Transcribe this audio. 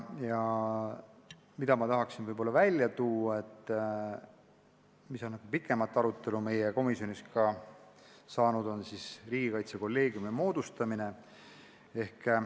Mida ma tahaksin võib-olla välja tuua ja mis on meie komisjonis ka pikemalt arutelu all olnud, on riigikaitsekolleegiumi moodustamine.